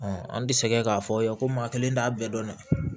an tɛ sɛgɛn k'a fɔ aw ye ko maa kelen t'a bɛɛ dɔn dɛ